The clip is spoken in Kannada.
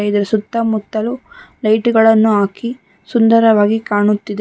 ಇದರ ಸುತ್ತಮುತ್ತಲು ಲೈಟ್ ಗಳನ್ನು ಹಾಕಿ ಸುಂದರವಾಗಿ ಕಾಣುತ್ತಿದೆ.